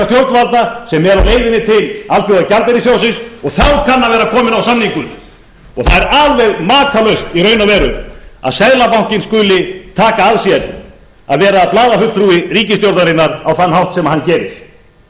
stjórnvalda sem er á leiðinni til alþjóðagjaldeyrissjóðsins og þá kann að vera kominn á samningur og það er alveg makalaust í raun og veru að seðlabankinn skuli taka að sér að vera blaðafulltrúi ríkisstjórnarinnar á þann hátt sem hann gerir